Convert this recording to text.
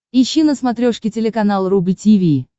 ищи на смотрешке телеканал рубль ти ви